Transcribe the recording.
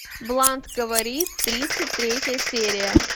блант говорит тридцать третья серия